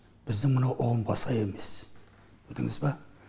біздің мынау ұғымға сай емес білдіңіз ба